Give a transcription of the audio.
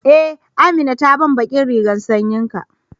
e, Amina ta bani ɓaƙin rigan sanƴin ka.